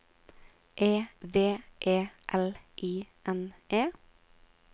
E V E L I N E